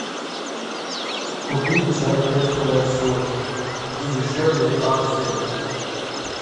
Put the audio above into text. купить чай тесс плесюр где дешевле акции